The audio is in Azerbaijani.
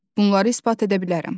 Bunları isbat edə bilərəm.